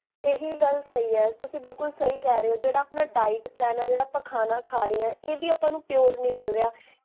ਇਹੀ ਗਲ ਸਹੀ ਹੈ, ਤੁਸੀਂ ਬਿਲਕੁਲ ਸਹੀ ਕਹ ਰਹੇ ਹੋ ਜੇਹੜਾ ਆਪਣਾ diet plan ਹੈ, ਜੇਹੜਾ ਆਪਾਂ ਖਾਨਾ ਖਾ ਰੇ ਹਾਂ, ਇਹ ਵੀ ਆਪਾਂ ਨੂੰ pure ਨੀ ਮਿਲਰੇਹਾ